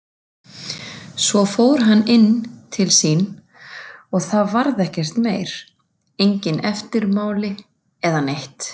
Svo fór hann inn til sín og það varð ekkert meira, engin eftirmál eða neitt.